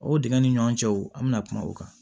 O dingɛ ni ɲɔgɔn cɛw an bɛna kuma o kan